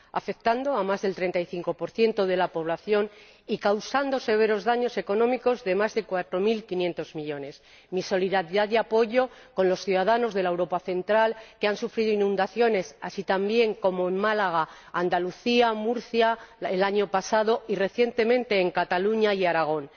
afectan a más del 35 de la población y causan severos daños económicos, de más de cuatro mil quinientos millones de euros. Mi apoyo y solidaridad con los ciudadanos de la Europa central que han sufrido inundaciones, como también en Málaga, Andalucía y Murcia el año pasado y, recientemente, en Cataluña y Aragón.